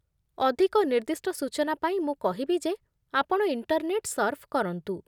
ଅଧିକ ନିର୍ଦ୍ଦିଷ୍ଟ ସୂଚନା ପାଇଁ ମୁଁ କହିବି ଯେ ଆପଣ ଇଣ୍ଟରନେଟ୍ ସର୍ଫ୍ କରନ୍ତୁ।